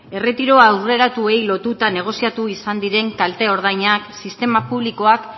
erretiro aurreratuei lotuta negoziatu izan diren kalte ordainak sistema publikoak